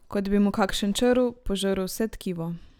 Kot bi mu kakšen črv požrl vse tkivo.